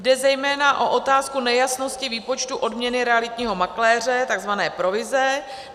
Jde zejména o otázku nejasnosti výpočtu odměny realitního makléře, tzv. provize.